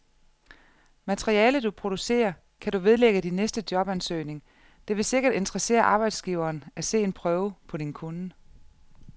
Materialet, du producerer, kan du vedlægge din næste jobansøgning, det vil sikkert interessere arbejdsgiveren at se en prøve på din kunnen.